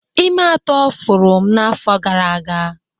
ime atọ pụrụ m n'afọ gara aga